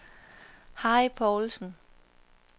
Harry Povlsen